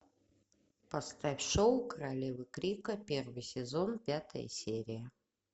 поставь шоу королевы крика первый сезон пятая серия